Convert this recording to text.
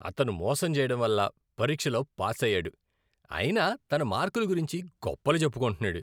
అతను మోసం చేయడంవల్ల పరీక్షలో పాసయ్యాడు అయినా తన మార్కుల గురించి గొప్పలు చెప్పుకుంటున్నాడు.